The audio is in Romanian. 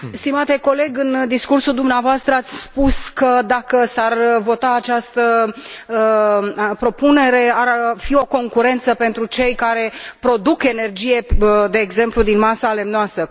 Stimate coleg, în discursul dumneavoastră ați spus că, dacă s ar vota această propunere, ar fi o concurență pentru cei care produc energie, de exemplu, din masa lemnoasă.